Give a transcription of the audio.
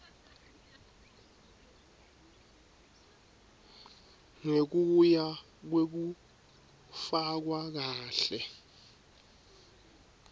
ngekuya kwekufakwa kahle